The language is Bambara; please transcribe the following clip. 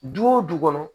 Du o du kɔnɔ